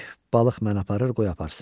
Balıq məni aparır, qoy aparsın.